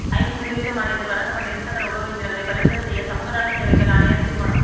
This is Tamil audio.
ஜம்பது வீத மாணியத்தில் வழங்கப்பட்ட இருசக்கர உழவு இயந்திரங்களை பறிமுதல் செய்ய கமநலசேவைகள் ஆணையாளர் தீர்மானம்